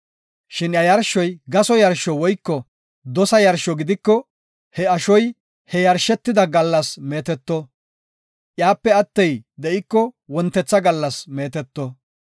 Shin iya yarshoy gaso yarsho woyko dosa yarsho gidiko he ashoy he yarshetida gallas meeteto; iyape attey de7iko wontetha gallas meeteto.